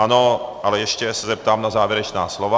Ano, ale ještě se zeptám na závěrečná slova.